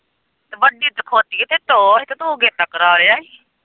ਮਰਜ਼ੀ ਦਿਖਾਉਂਦੀ ਏ ਤੇ ਤੂੰ ਗੇਤਾ ਕਰਾਂ ਲਿਆ ਏ।